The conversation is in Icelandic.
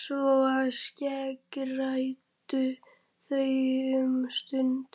Svona skeggræddu þau um stund